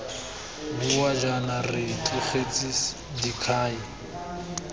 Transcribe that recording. bua jaana re tlogetse dikhai